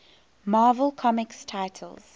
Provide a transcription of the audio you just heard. marvel comics titles